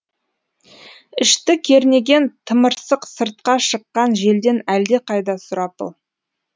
ішті кернеген тымырсық сыртқа шыққан желден әлдеқайда сұрапыл